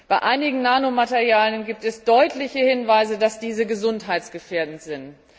Bei einigen Nanomaterialien gibt es deutliche Hinweise darauf, dass diese gesundheitsgefährdend sind.